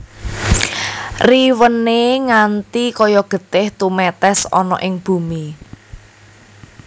Riwéné nganti kaya getih tumètès ana ing bumi